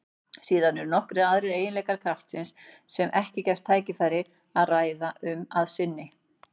Síðan eru nokkrir aðrir eiginleikar kraftsins sem ekki gefst tækifæri að ræða um að sinni.